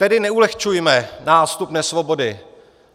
Tedy neulehčujme nástup nesvobody.